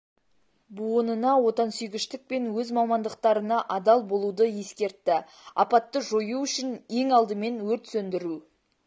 буынына отансүйгіштік пен өз мамандықтарына адал болуды ескертті апатты жою үшін ең алдымен өрт сөндіру